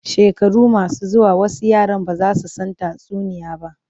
Shekaru masu zuwa wasu yaran ba za su san tatsuniyoyi ba.